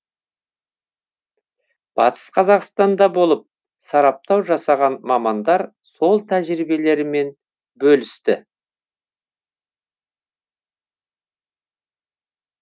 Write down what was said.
батыс қазақстанда болып сараптау жасаған мамандар сол тәжірибелерімен бөлісті